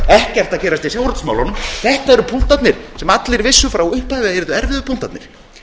ekkert að gerast í sjávarútvegsmálunum þetta eru punktarnir sem allir vissu frá upphafi að yrðu erfiðu punktarnir